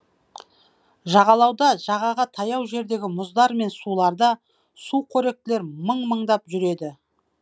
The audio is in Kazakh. жағалауда жағаға таяу жердегі мұздар мен суларда сүқоректілер мың мыңдап жүр еді